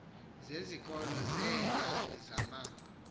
zezikolo zeelali zama